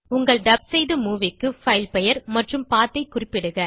உங்கள் டப் செய்த மூவி க்கு பைல் பெயர் மற்றும் பத் ஐ குறிப்பிடுக